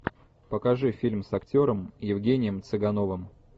покажи фильм с актером евгением цыгановым